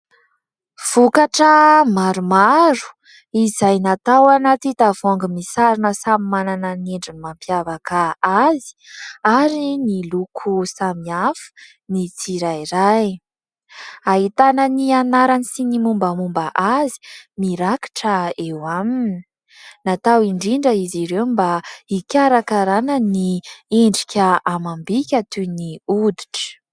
Vokatra maromaro izay natao ao anaty tavoahangy misarona samy manana ny endriny mampiavaka azy ary ny loko samihafa ny tsirairay. Ahitana ny anarany sy ny mombamomba azy mirakitra eo aminy. Natao indrindra izy ireo mba ikarakarana ny endrika amam-bika toy ny hoditra.